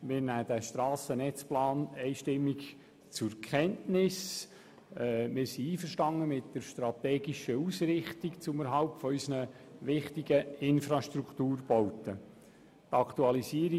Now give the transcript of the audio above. Wir nehmen den Strassennetzplan einstimmig zur Kenntnis und sind mit der strategischen Ausrichtung zum Erhalt unserer wichtigen Infrastrukturbauten einverstanden.